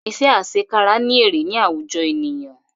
Iṣẹ́ àsekára ní èrè ní àwùjọ ènìyàn